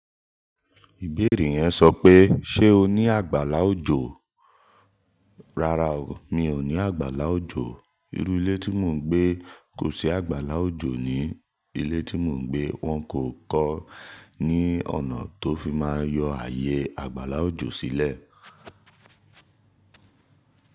Ìbéèrè yẹn sọ pé, ṣé o ní àgbàlá òjò? Rárá o, mi ò ní àgbàlá òjò. Ilé tí mò ń gbé kò sí àgbàlá òjò ní ilé tí mò ń gbé. Wọ́n kò kọ́ ní ọ̀nà tó fi máa yọ ààyè àgbàlá òjò sílẹ̀.